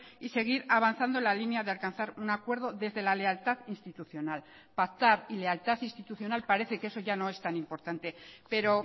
y seguir avanzando la línea de alcanzar un acuerdo desde la lealtad institucional pactar y lealtad institucional parece que eso ya no es tan importante pero